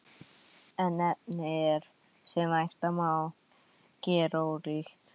En efnið er, sem vænta má, gerólíkt.